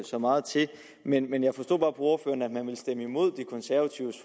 så meget til men jeg forstod bare på ordføreren at man vil stemme imod de konservatives